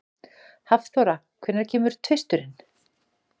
Hafþóra, hvenær kemur tvisturinn?